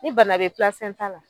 Ni bana be ta la